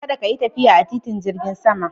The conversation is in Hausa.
Kada ka yi tafiya a titin jirgin sama